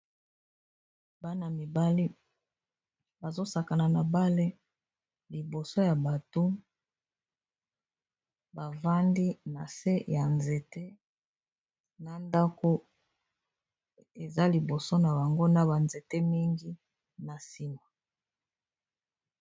Bana-mibale bazosakana na bale liboso ya bato bavandi na se ya nzete na ndako eza liboso na bango na banzete mingi na nsima.